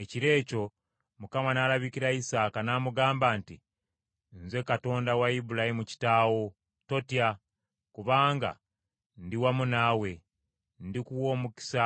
Ekiro ekyo Mukama n’alabikira Isaaka, n’amugamba nti, “Nze Katonda wa Ibulayimu kitaawo, totya. Kubanga ndiwamu naawe, ndikuwa omukisa